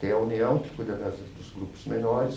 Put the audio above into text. Tem a União, que cuida das das dos grupos menores.